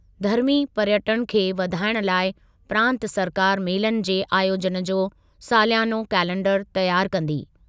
धर्मी पर्यटनु खे वधाइण लाइ प्रांतु सरकारि मेलनि जे आयोजनु जो सालियानो कैलेंडरु तयारु कंदी।